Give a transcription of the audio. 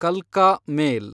ಕಲ್ಕಾ ಮೇಲ್